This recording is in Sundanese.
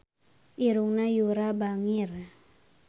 Irungna Yura bangir